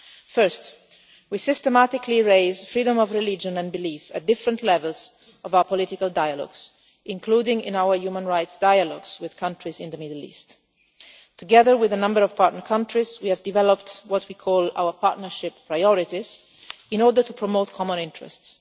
First, we systematically raise freedom of religion and belief at different levels of our political dialogues, including in our human rights dialogues with countries in the Middle East. Together with a number of partner countries, we have developed what we call our partnership priorities in order to promote common interests.